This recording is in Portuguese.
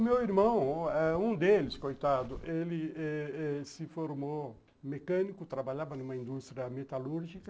O meu irmão, um deles, coitado, ele se formou mecânico, trabalhava numa indústria metalúrgica,